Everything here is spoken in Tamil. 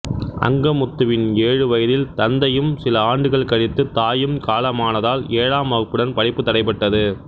அங்கமுத்துவின் ஏழு வயதில் தந்தையும் சில ஆண்டுகள் கழித்து தாயும் காலமானதால் ஏழாம் வகுப்புடன் படிப்பு தடைப்பட்டது